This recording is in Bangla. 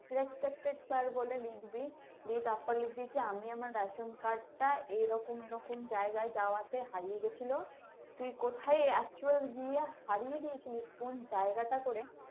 respected sir বলে লিখবি, দিয়ে তারপর লিখবি যে আমি আমার ration card টা এরকম এরকম জায়গায় যাওয়াতে হারিয়ে গেছিল, তুই কোথায় actual গিয়ে হারিয়ে দিয়েছিলিশ কোন জায়গাটা করে।